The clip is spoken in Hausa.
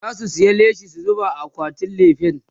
zasu saya leshi su zuba a akwatin lefen